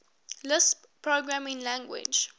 lisp programming language